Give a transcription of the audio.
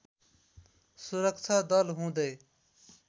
सुरक्षा दल हुँदै